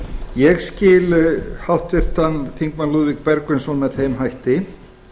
ég skil háttvirtir þingmenn lúðvík bergvinsson með þeim hætti